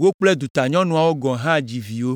wo kple dutanyɔnuawo gɔ̃ hã dzi viwo.